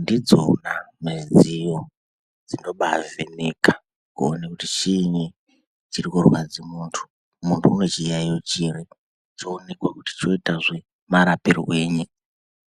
ndidzona midziyo dzinobaavheneka kuone kuti chiini chiri kurwadze muntu, muntu une chiyaiyo chiri oonekwazve kuti oite murapirwei.